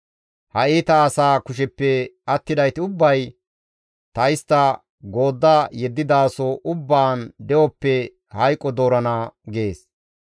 Ha iita asaa kusheppe attidayti ubbay ta istta goodda yeddidaso ubbaan de7oppe hayqo doorana» gees.